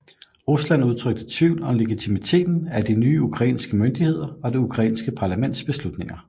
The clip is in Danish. Rusland udtrykte tvivl om legitimiteten af de nye ukrainske myndigheder og det ukrainske parlamentets beslutninger